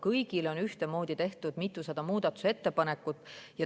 Kõigi kohta on ühtemoodi tehtud mitusada muudatusettepanekut.